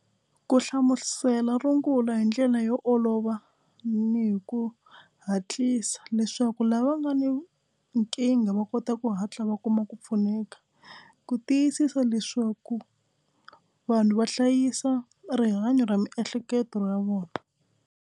Ku hlamusela rungula hi ndlela yo olova ni hi ku hatlisa leswaku lava nga ni nkingha va kota ku hatla va kuma ku pfuneka ku tiyisisa leswaku vanhu va hlayisa rihanyo ra miehleketo ra vona.